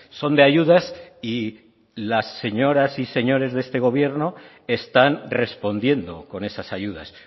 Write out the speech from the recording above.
son de ayudas y las señoras y señores de este gobierno están respondiendo con esas ayudas